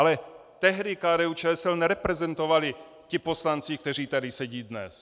Ale tehdy KDU-ČSL nereprezentovali ti poslanci, kteří tady sedí dnes.